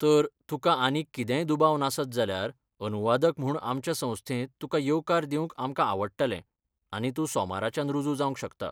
तर, तुकां आनीक कितेंय दुबाव नासत जाल्यार अनुवादक म्हूण आमच्या संस्थेंत तुका येवकार दिवंक आमकां आवडटलें आनी तूं सोमाराच्यान रुजू जावंक शकता.